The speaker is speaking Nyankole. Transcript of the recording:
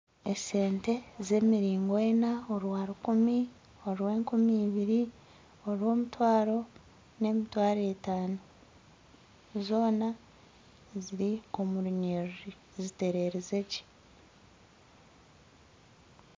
Esente z'emiringo ena orwa rukumi orw'enkumi ibiri orw'omutwaro n'emitwaro etaano zoona ziri omurunyerere zitererize gye